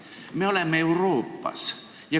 Me oleme Euroopas.